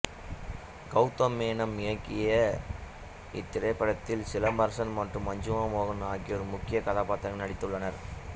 கௌதம் மேனன் இயக்கிய இத்திரைப்படத்தில் சிலம்பரசன் மற்றும் மஞ்சிமா மோகன் ஆகியோர் முக்கிய கதாபாத்திரங்களில் நடித்துள்ளனர்